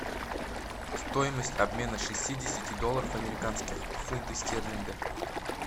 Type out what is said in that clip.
стоимость обмена шестидесяти долларов американских в фунты стерлинга